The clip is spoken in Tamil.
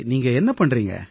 நீங்க என்ன செய்யறீங்க